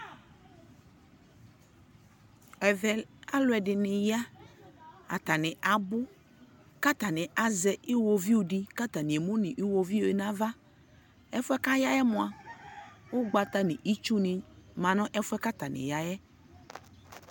ɛvɛ alʋɛdini ya, atani abʋ kʋ atani azɛ iwɔviʋ di kʋ atani ɛmʋnʋ iwɔviʋɛ nʋ aɣa, ɛƒʋɛ kʋ ayaɛ mʋa, ʋgbata nʋ itsʋ ni manʋ ɛƒʋɛ kʋ atani yaɛ